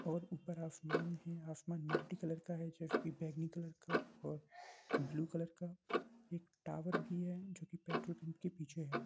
और ऊपर आसमान है आसमान मल्टीकलर का है जैसे की बैंगनी कलर का और ब्लू कलर का एक टावर भी है जो की पेट्रोल पम्प के पीछे है।